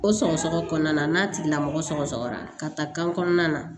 O sɔgɔsɔgɔ kɔnɔna n'a tigilamɔgɔ sɔgɔsɔgɔra ka taa kan kɔnɔna na